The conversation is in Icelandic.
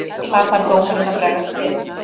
Þar þarf dómarinn að bregðast við.